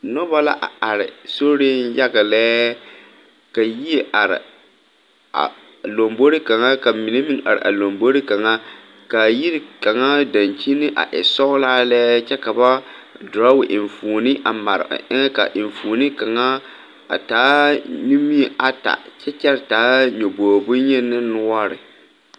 Noba la are, soriŋ yaga lɛɛ ka yie are, a lambori kaŋa, ka mine meŋ are a lambori kaŋa, ka a yiri kaŋa dankyini a e sɔglaa lɛ, kyɛ ka ba drow enfuone mare a eŋɛ ka a enfuone ka enfuone kaŋa taa nimie ata, kyɛ taa nyɔbori boyeni ne noɔre.